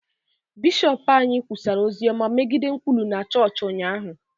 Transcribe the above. bishọp anyị kwusara ozi ọma megide nkwulu na chọọchị ụnyahụ